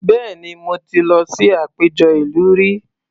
Bẹ́ẹ̀ni, mo ti lọ sí àpéjọ ìlú rí